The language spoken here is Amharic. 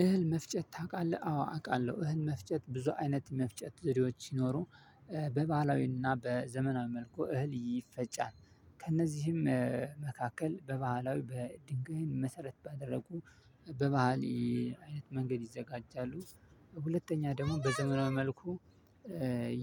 እህል መፍጨት ታውቃለህ? አዎ አውቃለሁ። እህል መፍጨት ብዙ አይነት መፍጨት ዘዴዎች ሲኖሩ በባህላዊና በዘመናዊ መልኩ እህል ይፈጫል። ከእነዚህም መካከል በባህላዊ በድንጋይን መሰረት ባደረጉ በባህል አይነት መንገድ ይዘጋጃሉ። ሁለተኛ ደግሞ በዘመናዊ መልኩ